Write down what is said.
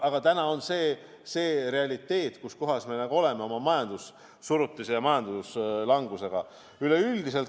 Aga täna on see realiteet, kus me oma majandussurutise ja majanduslangusega oleme.